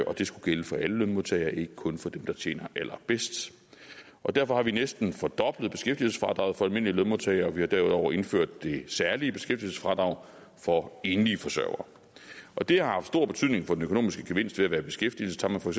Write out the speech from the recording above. og det skulle gælde for alle lønmodtagere ikke kun for dem der tjener allerbedst og derfor har vi næsten fordoblet beskæftigelsesfradraget for almindelige lønmodtagere og vi har derudover indført det særlige beskæftigelsesfradrag for enlige forsørgere og det har haft stor betydning for den økonomiske gevinst ved at være i beskæftigelse tager man for